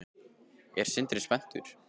Er Sindri spenntur?